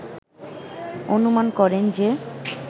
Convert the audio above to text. অনুমান করেন যে